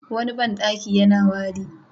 Wani banɗaki yana wari.